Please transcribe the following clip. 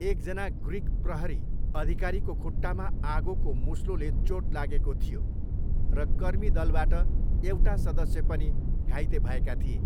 एकजना ग्रिक प्रहरी अधिकारीको खुट्टामा आगोको मुस्लोले चोट लागेको थियो, र कर्मी दलबाट एउटा सदस्य पनि घाइते भएका थिए।